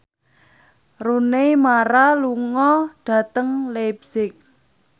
Rooney Mara lunga dhateng leipzig